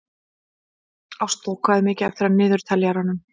Ástþór, hvað er mikið eftir af niðurteljaranum?